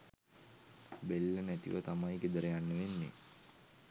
බෙල්ල නැතිව තමයි ගෙදර යන්න වෙන්නෙ